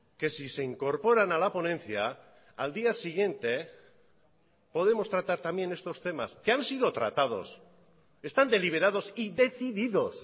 que si se incorporan a la ponencia al día siguiente podemos tratar también estos temas que han sido tratados están deliberados y decididos